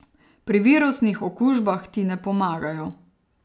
Pri virusnih okužbah ti ne pomagajo.